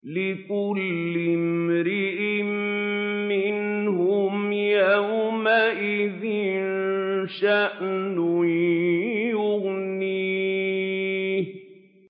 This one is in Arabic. لِكُلِّ امْرِئٍ مِّنْهُمْ يَوْمَئِذٍ شَأْنٌ يُغْنِيهِ